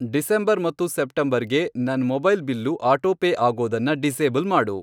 December ಮತ್ತು September ಗೆ ನನ್ ಮೊಬೈಲ್ ಬಿಲ್ಲು ಆಟೋಪೇ ಆಗೋದನ್ನ ಡಿಸೇಬಲ್ ಮಾಡು.